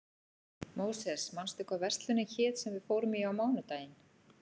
Móses, manstu hvað verslunin hét sem við fórum í á mánudaginn?